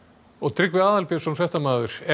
Tryggvi Aðalbjörnsson fréttamaður er